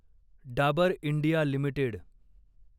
Dabur India limited